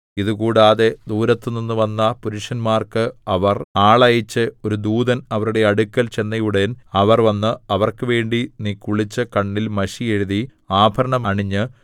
ഇതുകൂടാതെ ദൂരത്തുനിന്ന് വന്ന പുരുഷന്മാർക്ക് അവർ ആളയച്ച് ഒരു ദൂതൻ അവരുടെ അടുക്കൽ ചെന്നയുടൻ അവർ വന്നു അവർക്ക് വേണ്ടി നീ കുളിച്ച് കണ്ണിൽ മഷി എഴുതി ആഭരണം അണിഞ്ഞ്